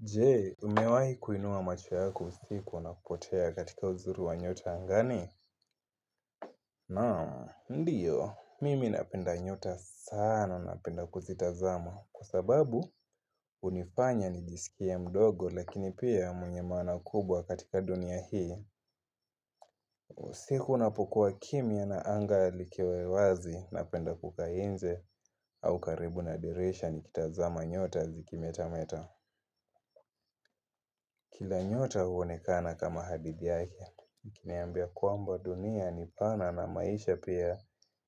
Je, umewahi kuinua macho yako usiku na kupotea katika uzuri wa nyota angani? Naam, ndiyo. Mimi napenda nyota sana napenda kuzitazama. Kwa sababu hunifanya nijisikie mdogo lakini pia mwenye maana kubwa katika dunia hii. Usiku unapokuwa kimya na anga likiwa wazi napenda kukaa nje au karibu na dirisha nikitazama nyota zikimetameta. Kila nyota huonekana kama hadithi yake, ikiniambia kwamba dunia ni pana na maisha pia